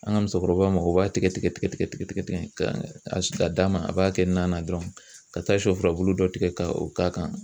An ka musokɔrɔbaw mago b'a tigɛ tigɛ tigɛ tigɛ ka si ka d'a ma a b'a kɛ nan na dɔrɔn ka taa shɔ furabulu dɔ tigɛ ka o k'a kan.